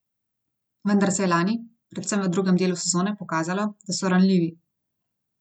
Vendar se je lani, predvsem v drugem delu sezone, pokazalo, da so ranljivi.